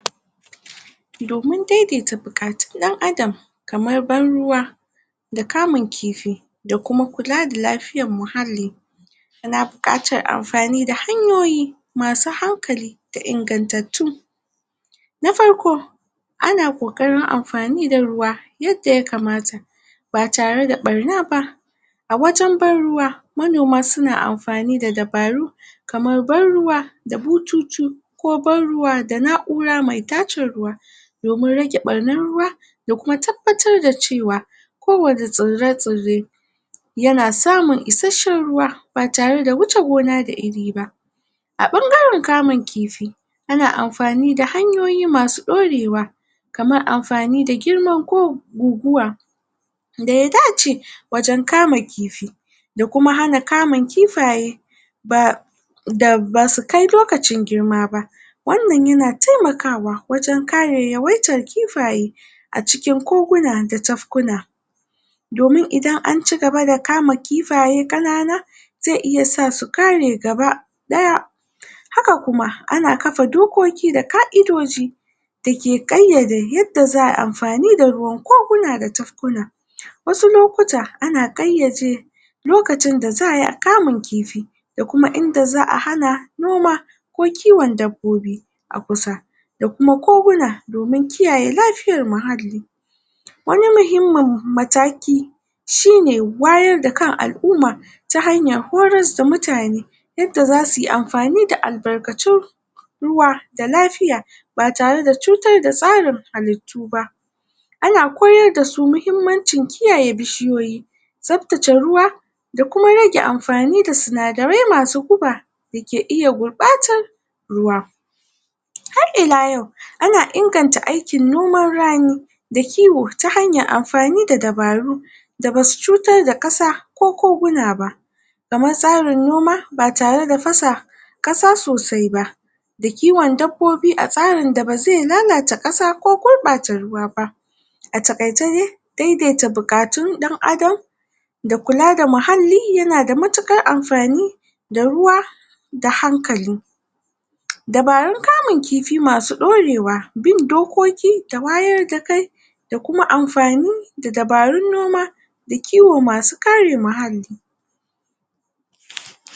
domin daidaita bukatun dan adam kaman ban ruwa da kamun kifi da kula da lafiyan muhalli yana bukatan anfani da hanyoyi masu hankali da ingantattu na farko ana kokarin anfani da ruwa yadda ya kamata ba tare da barna ba a wajen ban ruwa manoma suna anfani da dabaru kaman ban ruwa da bututu da kuma ban ruwa da naura mai tace ruwa domin rage farnan ruwa da kuma tabatar da cewa kowanne tsirre-tsirre yana samun ishashshen ruwa ba tare da huce gona da iri ba a bangaren kamun kifi ana anfani da hanyoyi masu dorewa kaman anfani da girma ko guguwa daya dace wajen kamun kifi da kuma hana kamun kifaye basu da basu kai lokaci girma ba wan nan yana taimakawa wajen kare yawaitan kifaye a cikin koguna da tafkuna domin idan anci gaba da kama kifaye kanana zai iya sa su kare gaba daya haka kuma ana kafa dokoki da kaidoji dake kaiyade yadda zaayi anfani da ruwan koguna da tafkuna wasu lokuta a na kaiyade lokacin da zaayi kamun kifi da kuma inda zaa hana noma ko kuma kiwon dabbobi a kusa da kuma koguna dan inganta lafiyan muhallli wani muhimmun mataki shine wayar da kan alumma ta hanyar horar da mutane yadda zasu yi anfani da albarkatu ruwa da lafiya ba tare da tsutar da tsarin halittuba ana koyar dasu muhimmanci kiyaye bishiyoyi tsaftace ruwa da kuma rage anfani da sinadarar masu guba da ke iya gurbatan ruwa har ila yau ana inganta aikin noman rani da kiwo ta hanyan anfani da dabaru da basu tsutar da kasa ko kuguna ba da ma tsarin noma ba tare da fasa kasa sosai ba da kiwon dabbibi, a tsarin da bazai gurbata kasa ko lalata ruwa ba a takaice dai daidaita bukatun dan adam da kula da muhalli yana da matukar anfani da ruwa da hankali dabarun kamun kifi masu dorewa bin dokoki masu wayar da kai da kuma anfani da dabarun kama kifi